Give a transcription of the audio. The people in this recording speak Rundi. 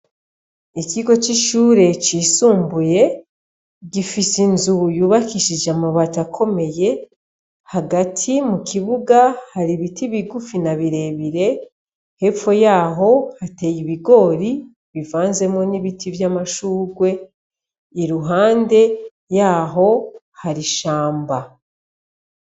Ikigo c'ishure cisumbuye gifise inzu yubakishije amabato akomeye hagati mu kibuga hari ibiti bigufi na birebire mpepfo yaho hateye ibigori bivanzemo n'ibiti vy'amashurwe i ruhande yaho hari ishamba.